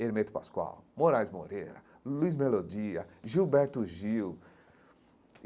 Hermeto Pascoal, Moraes Moreira, Luiz Melodia, Gilberto Gil.